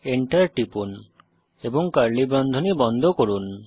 Enter টিপুন এবং curly বন্ধনী বন্ধ করুন